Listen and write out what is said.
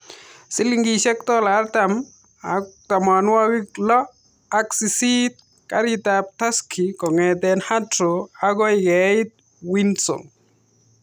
Silingishek dola artam akui tamwanakik lo ak sisit karit ab taksi kong'ete Heathrow akui keit Windsor .